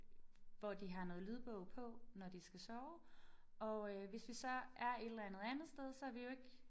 Hvor de har noget lydbog på når de skal sove og øh hvis vi så er et eller andet andet sted så er vi jo ikke